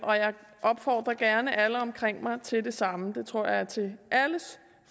opfordrer gerne alle omkring mig til det samme det tror jeg er til alles